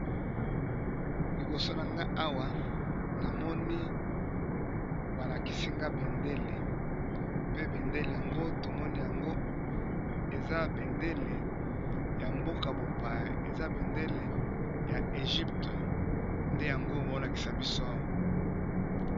Liboso na nga awa na moni ba lakisi nga bendele, pe bendele yango to moni yango eza bendele ya mboka bo paya eza bendele ya egypte nde yango bao lakisa biso awa.